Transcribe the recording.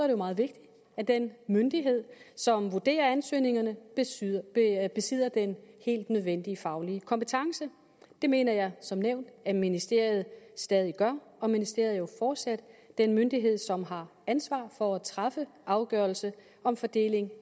det meget vigtigt at den myndighed som vurderer ansøgningerne besidder besidder den helt nødvendige faglige kompetence det mener jeg som nævnt at ministeriet stadig gør og ministeriet er jo fortsat den myndighed som har ansvar for at træffe afgørelse om fordeling